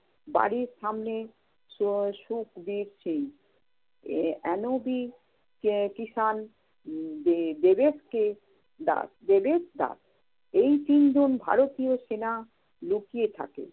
বাড়ির সামনে সু~ সুখদিপ সিং, NOB কে~কিশান, উম দে~দেবেশকে দা~ দেবেশ দাশ, এই তিনজন ভারতীয় সেনা লুকিয়ে থাকে।